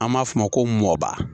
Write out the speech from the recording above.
An b'a f'o ma ko mɔba